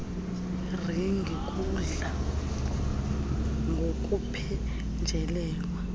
kweringi kudla ngokuphenjelelwa